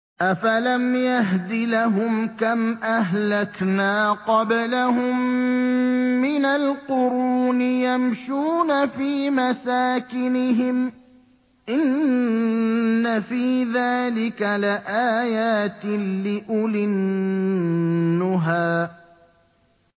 أَفَلَمْ يَهْدِ لَهُمْ كَمْ أَهْلَكْنَا قَبْلَهُم مِّنَ الْقُرُونِ يَمْشُونَ فِي مَسَاكِنِهِمْ ۗ إِنَّ فِي ذَٰلِكَ لَآيَاتٍ لِّأُولِي النُّهَىٰ